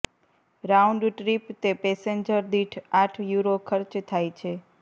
round trip તે passenger દીઠ આઠ યુરો ખર્ચ થાય છે